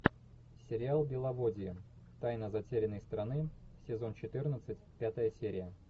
сериал беловодье тайна затерянной страны сезон четырнадцать пятая серия